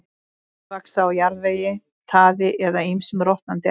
Þeir vaxa á jarðvegi, taði eða ýmsum rotnandi efnum.